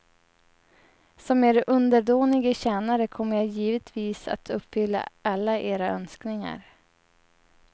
Som er underdånige tjänare kommer jag givetvis att uppfylla alla era önskningar.